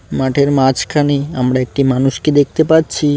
মাঠের মাঝখানে আমরা একটি মানুষকে দেখতে পাচ্ছি।